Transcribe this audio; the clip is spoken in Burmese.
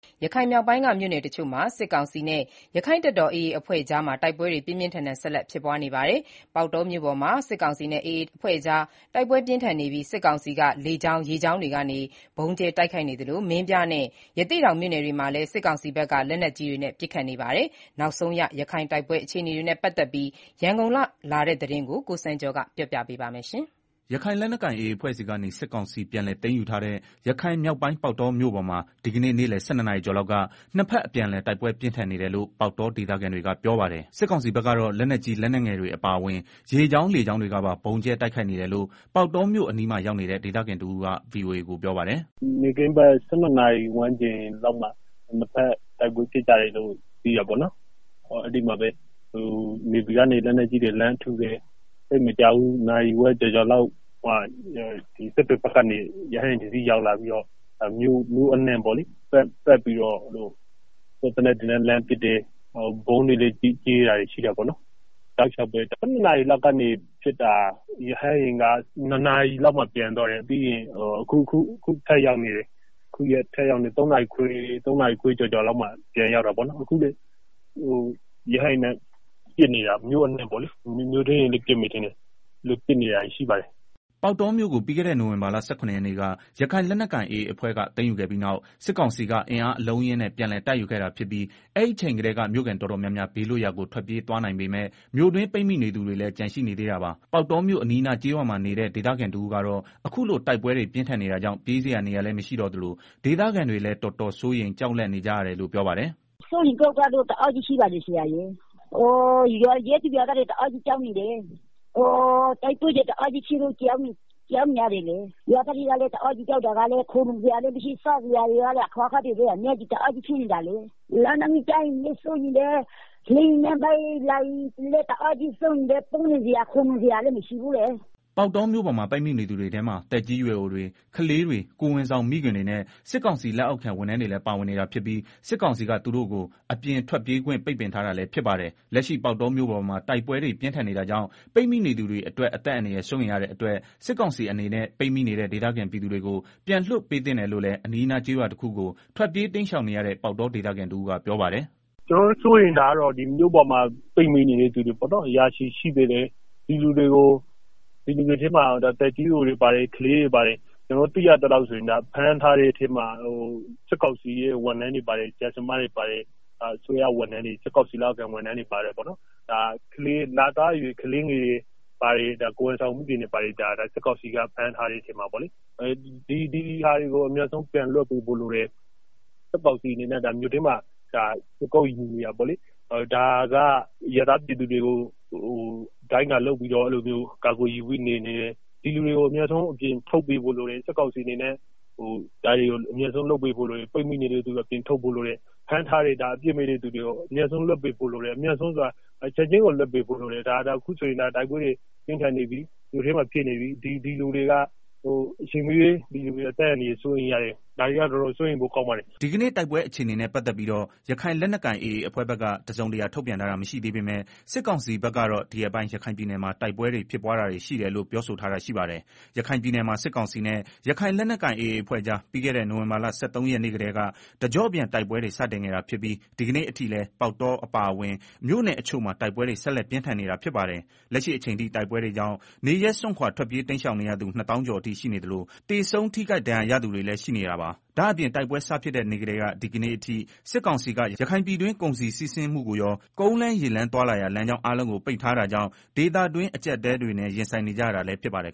ရခိုင်မြောက်ပိုင်းက မြို့နယ်တချို့မှာ စစ်ကောင်စီနဲ့ ရခိုင်လက်နက်ကိုင် AA အဖွဲ့ကြား ဒီကနေ့လည်း တိုက်ပွဲတွေ ပြင်းပြင်းထန်ထန် ဆက်လက် ဖြစ်ပွါးနေပါတယ်။ ပေါက်တောမြို့ပေါ်မှာ စစ်ကောင်စီနဲ့ AA အဖွဲ့ကြား တိုက်ပွဲပြင်းထန်နေပြီး စစ်ကောင်စီက လေကြောင်း ရေကြောင်းတွေကနေ ဗုံးကြဲ တိုက်ခိုက်နေသလို မင်းပြားနဲ့ ရသေ့တောင်မြို့နယ်တွေမှာလည်း စစ်ကောင်စီဘက်က လက်နက်ကြီးတွေနဲ့ ပစ်ခတ်နေပါတယ်။ နောက်ဆုံးရ ရခိုင် တိုက်ပွဲ အခြေအနေနဲ့ ပတ်သက်ပြီး ရန်ကုန်ကလာတဲ့ သတင်းကို အခြေခံပြီး ကိုစံကျော်က တင်ပြပေးပါမယ်။ ရခိုင်လက်နက်ကိုင် AA အဖွဲ့ဆီကနေ စစ်ကောင်စီ ပြန်လည်သိမ်းယူထားတဲ့ ရခိုင်မြောက်ပိုင်း ပေါက်တောမြို့ပေါ်မှာ ဒီကနေ့ နေ့လည် ၁၂နာရီကျော်လောက်က နှစ်ဘက်အပြန်အလှန် တိုက်ပွဲပြင်းထန် နေတယ်လို့ ပေါက်တော ဒေသခံတွေကပြောပါတယ်။ စစ်ကောင်စီဘက်က တော့ လက်နက်ကြီး လက်နက်ငယ်တွေ အပါအဝင် ရေကြောင်း လေကြောင်းတွေကပါ ဗုံးကြဲ တိုက်ခိုက်နေတယ်လို့ ပေါက်တောမြို့အနီးမှာ ရောက်နေတဲ့ ဒေသခံတဦးက ဗွီအိုအေကို ပြောပါတယ်။ “ နေ့ခင်းဘက် ၁၂နာရီလောက်မှာ နှစ်ဘက် တိုက်ပွဲ ဖြစ်ကြတယ်လို့ အဲဒီမှာ နေဗီကနေ လက်နက်ကြီး တွေ လှမ်းပစ်တယ်၊ သိပ်မကြာဘူး နာရီဝက် ကျော်ကျော်လောက်မှာ စစ်တွေဘက်ကနေ ရဟတ်ယာဉ် တစီးရောက်လာပြီးတော့ မြို့အနှံ့ ပတ်ပြီးတော့ စစ်သေနတ်တွေနဲ့ လှမ်းပစ်တယ်၊ ဗုံးတွေလည်း ကြဲတာရှိတယ်၊ တောက်လျောက်ပဲ ၁၂ နာရီကနေ ပစ်တာ ။ ရဟတ်ယာဉ်က ၂နာရီလောက်မှာ ပြန်သွားတယ်။ အခုထပ်ရောက်နေပြန်ပြီ ၃နာရီခွဲ ကျော်ကျော်လောက်မှာ ပြန်ရောက်တာပေါ့နော်၊ အခုလည်း ရဟတ်ယဉ်နဲ့ ပစ်နေတာ မြို့အနှံ့ပေါ့လေ မြို့တွင်းတွေလည်းပစ်မယ်ထင်ပါတယ်။” ပေါက်တောမြို့ကို ပြီးခဲ့တဲ့ နိုဝင်ဘာလ ၁၇ ရက်နေ့က ရခိုင်လက်နက်ကိုင် AA အဖွဲ့က သိမ်းယူခဲ့ပြီးနောက် စစ်ကောင်စီက အင်အားအလုံးအရင်းနဲ့ ပြန်လည်တိုက်ယူခဲ့တာဖြစ်ပြီး အဲဒီအချိန်ကတည်းက မြို့ခံ တော်တော်များများ ဘေးလွတ်ရာကို ထွက်ပြေးသွားနိုင်ပေမယ့် မြို့တွင်း ပိတ်မိနေ သူတွေ လည်း ကျန်ရှိနေသေးတာပါ။ ပေါက်တောမြို့ အနီးအနား ကျေးရွာမှာနေတဲ့ ဒေသခံတဦးကတော့ အခုလို တိုက်ပွဲတွေ ပြင်းထန်နေ တာကြောင့် ပြေးစရာနေရာလည်း မရှိတော့သလို ဒေသခံတွေလည်း တော်တော်စိုးရိမ် ကြောက်လန့် နေကြ တယ်လို့ ပြောပါတယ်။ “ စိုးရိမ်ကြောင့်ကြမှုတွေကတော့ တအားရှိတယ်၊။ ရပ်သူ ရွာသားတွေလည်း တအားကြောက် နေကြတာ၊ တိုက်ပွဲတွေလည်း တအားဖြစ်တော့ ကြောက်ရတာပေါ့။ ရွာသားတွေမှာလည်း ခိုလုံစရာ လည်းမရှိ စားစရာလည်းမရှိ အခက်အခဲတအားဖြစ်နေတာလေ၊ လက်နက်ကြီး ကျမှာကိုလည်း စိုးရိမ်တယ် လေယာဉ်နဲ့ ပစ်မှာကိုလည်း စိုးရိမ်တယ်၊ ပုန်းစရာ ခိုလုံစရာ လည်းမရှိဘူးလေ။” ပေါက်တောမြို့ပေါ်မှာ ပိတ်မိနေတဲ့သူတွေထဲမှာ သက်ကြီးရွယ်အိုတွေ ကလေးတွေ ကိုယ်ဝန် ဆောင် မိခင်တွေနဲ့ စစ်ကောင်စီ လက်အောက်ခံ ဝန်ထမ်းတွေလည်း ပါဝင်နေတာဖြစ်ပီး စစ်ကောင်စီ က သူတို့ကို အပြင်ထွက်ပြေးခွင့်ပိတ်ထားတာ လည်းဖြစ်ပါတယ်။ လက်ရှိပေါက်တောမြို့ပေါ်မှာ တိုက်ပွဲ တွေ ပြင်းထန်နေတာကြောင့် ပိတ်မိနေသူအတွက် အသက်အန္တရာယ်စိုးရိမ်ရ တဲ့အတွက် စစ်ကောင်စီအနေနဲ့ပိတ်မိနေတဲ့ ဒေသခံပြည်သူတွေကို ပြန်လွတ်ပေးသင့် တယ်လို့ လည်း အနီးအနား ကျေးရွာတခုကို ထွက်ပြေးတိမ်းရှောင်နေရတဲ့ ပေါက်တောဒေသခံ တဦးက ပြောပါတယ်။ “ မြို့ပေါ်မှာ ပိတ်မိနေတဲ့ သူတွေ ရာချီရှိနေသေးတယ်၊ဒီလူတွေထဲမှာ သက်ကြီးရွယ်အိုတွေ ပါတယ်၊ ကလေးတွေ ပါတယ် ကျနော်တို့ သိရသလောက် ဖမ်းထားတဲ့ ထဲမှာ စစ်ကောင်စီ လက်အောက်ခံ ဝန်ထမ်းတွေပါတယ်၊ ဆရာ ဆရာမတွေပါတယ် အစိုးရဝန်ထမ်းတွေပါတယ်။ လသားအရွယ် ကလေးငယ်တွေပါတယ်၊ ကိုယ်ဝန်ဆောင်မိခင်တွေပါတယ်၊ ဒီဟာတွေကို အမြန်ဆုံးပြန်လွတ်ပေးဖို့ လိုတယ်၊ စစ်ကောင်စီက မြို့ထဲမှာ ခြေကုတ်ယူနေတာပေါ့လေ၊ ဒါကအရပ်သားပြည်သူတွေကို ဒိုင်းကာလုပ်ပြီးတော့ ကာကွယ်ယူပြီးနေနေတယ်၊ ဒီလူတွေကို အမြန်ဆုံးအပြင်ထုတ်ပေးဖို့ လိုတယ်။ ဖမ်းထားတဲ့သူတွေကို ချက်ချင်းလွတ်ပေးဖို့လိုတယ် အခုဆိုရင် မြို့ထဲမှာ တိုက်ပွဲတွေ ဖြစ်နေပြီ ဒီလူတွေ အချိန်မရွေး အသက်အန္တရာယ် အတွက် စိုးရိမ်ရ တယ်၊ ဒါတွေက တော်တော်စိုးရိမ်ရ ပါတယ်။” ဒီကနေ့ တိုက်ပွဲအခြေအနေနဲ့ ပတ်သတ်ပြီးတော့ ရခိုင်လက်နက်ကိုင်AAအဖွဲ့ဖက်က တစုံတရာထုတ်ပြန်ထားတာမရှိသေးပေမယ့် စစ်ကောင်စီဖက်ကတော့ ဒီရက်ပိုင်း ရခိုင်ပြည် နယ်မှာ တိုက်ပွဲဖြစ်ပွားတာတွေရှိတယ်လို့ ပြောဆိုထားတာရှိပါတယ်။ ရခိုင်ပြည်နယ်မှာ စစ်ကောင်စီနဲ့ ရခိုင်လက်နက်ကိုင် AA အဖွဲ့ကြား ပြီးခဲ့တဲ့ နိုင်ဝင်ဘာလ ၁၃ရက် နေ့ကတည်းက တကြောပြန်တိုက်ပွဲတွေ စတင်ခဲ့တာဖြစ်ပြီး ဒီကနေ့ အထိလည်း ပေါက်တော အပါအဝင် မြို့နယ်တချို့မှာ တိုက်ပွဲတွေ ဆက်လက်ပြင်းထန် နေတာဖြစ်ပါတယ်။ လက်ရှိအချိန်ထိ တိုက်ပွဲတွေကြောင့် နေရပ်စွန့်ခွာထွက်ပြေးတိမ်းရှောင်နေရသူ ၂ သောင်း ကျော်အထိ ရှိနေသလို သေဆုံး ထိခိုက်ဒဏ်ရာရသူတွေလည်းရှိနေတာပါ။ ဒါ့အပြင် တိုက်ပွဲစဖြစ်တဲ့ နေ့ကတည်းက ဒီကနေ့အထိ စစ်ကောင်စီက ရခိုင်ပြည်တွင်း ကုန်စည်စီးဆင်းမှုကိုရော ကုန်းလမ်း ရေလမ်း သွားလာရာ လမ်းကြောင်းအားလုံးကို ပိတ်ထားတာကြောင့် ဒေသခံတွင်း အကျပ်အတည်းတွေနဲ့ ရင်ဆိုင်နေကြရတာလည်းဖြစ်ပါတယ်